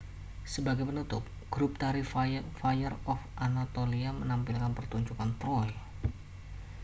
sebagai penutup grup tari fire of anatolia menampilkan pertunjukan troy